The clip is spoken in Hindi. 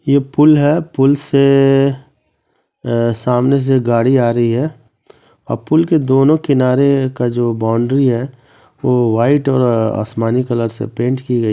ये पुल है पुल से ए ए सामने से गाड़ी आ रही है और पुल के दोनों किनारे का जो बाउंड्री है वो वाइट और आसमानी कलर से पेंट की गयी --